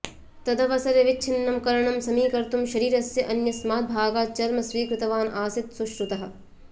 तदवसरे विच्छिन्नं कर्णं समीकर्तुं शरीरस्य अन्यस्मात् भागात् चर्म स्वीकृतवान् आसीत् सुश्रुतः